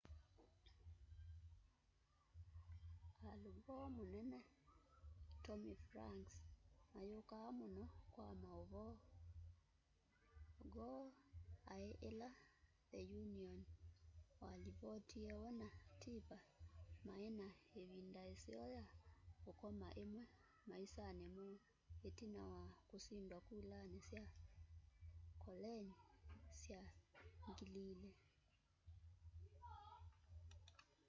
al gore na munene tommy franks mayukaa muno kwa mauvoo gore ai ila the onion walivotie we na tipper mai na ivind aiseo ya ukoma imwe maisani moo itina wa kusindwa kulani sya kolengyi sya 2000